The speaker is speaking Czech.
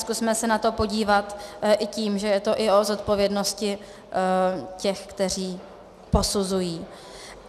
Zkusme se na to podívat i tím, že je to i o zodpovědnosti těch, kteří posuzují.